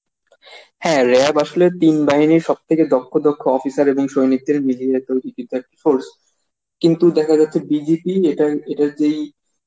হ্যাঁ RAB আসলে তিন বাহিনর সব থেকে দক্ষ দক্ষ officer এবং সৈনিকদের মিলিয়ে তৈরি একটি task force. কিন্তু দেখা যাচ্ছে BGP এটার এটার যেই